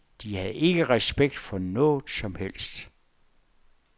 De havde ikke respekt for noget som helst.